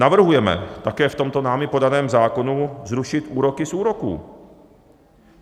Navrhujeme také v tomto námi podaném zákonu zrušit úroky z úroků.